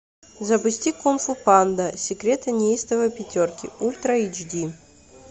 запусти кунг фу панда секреты неистовой пятерки ультра эйч ди